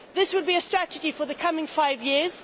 This will be a strategy for the coming five years